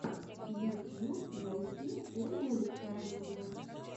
ютьюб найти ольгу александрову